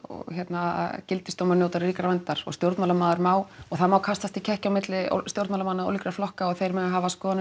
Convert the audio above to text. að gildisdómar njóta ríkrar verndar og stjórnmálamaður má og það má kastast í kekki milli stjórnmálamenn annarra flokka og þeir mega hafa skoðanir